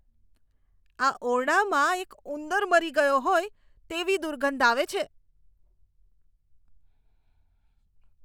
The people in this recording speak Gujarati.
આ ઓરડામાં એક ઉંદર મરી ગયો હોય તેવી દુર્ગંધ આવે છે.